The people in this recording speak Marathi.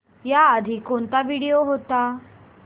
याआधी कोणता व्हिडिओ होता